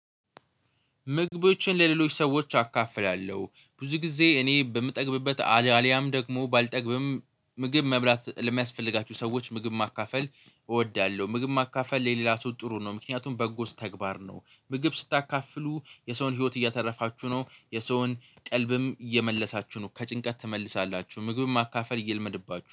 ምግቦችን ለሌሎች ሰዎች አካፍላለሁ ብዙ ጊዜ እኔ በምጠግብበት አልያም ደግሞ ባልጠግብም ምግብ መብላት ለሚያስፈልጋችሁ ሰዎች ምግብ ማካፈል እወዳለሁ። ምግብ ማካፈል የሌላ ሰው ጥሩ ነው። ምክንያቱም በጎ ተግባር ነው። ምግብ ስታካፍሉ የሰውን ህይወት እያተረፋችሁ ነው። የሰውን ቀልብም እየመለሳችሁ ነው። ከጭንቀት ትመልሳላችሁ ምግብን ማካፈል ይለመድባችሁ